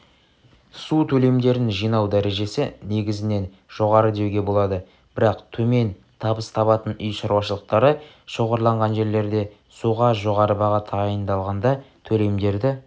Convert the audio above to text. су төлемдерін жинау дәрежесі негізінен жоғары деуге болады бірақ төмен табыс табатын үй шаруашылықтары шоғырланған жерлерде суға жоғары баға тағайындалғанда төлемдерді